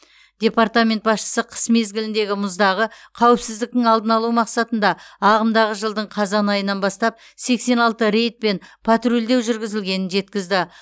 департамент басшысы қыс мезгіліндегі мұздағы қауіпсіздіктің алдын алу мақсатында ағымдағы жылдың қазан айынан бастап сексен алты рейд пен патрульдеу жүргізілгенін жеткізді